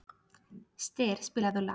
Styr, spilaðu lag.